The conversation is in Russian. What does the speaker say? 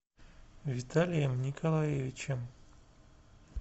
виталием николаевичем